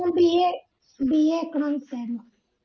ഞാൻ BABAEconomics ആയിരുന്നു